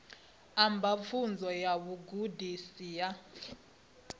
amba pfunzo ya vhugudisi ya